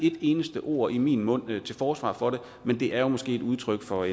et eneste ord i min mund til forsvar for det men det er jo måske et udtryk for